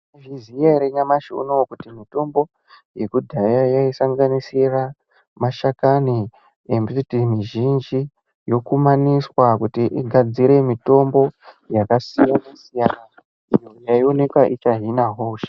..zviziya ere nyamashi unoo kuti mutombo yekudhaya yaisanganisira mashakani embiti mizhinji yokumaniswa kuti igadzire mitombo yakasiyana-siyana iyo yaionekwa ichahina hosha.